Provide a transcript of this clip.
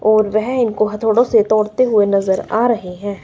और वह इनको हातोडोसे तोड़ते हुवे नजर आ रहे हैं।